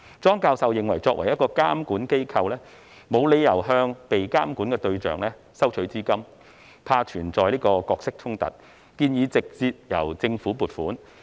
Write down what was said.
莊教授認為，作為一個監管機構，沒理由向被監管的對象收取資金，擔心存在角色衝突，建議直接由政府撥款。